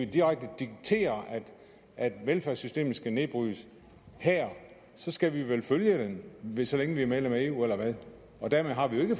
direkte dikterer at velfærdssystemet skal nedbrydes her så skal vi vil følge det så længe vi er medlem af eu eller hvad og dermed har vi jo ikke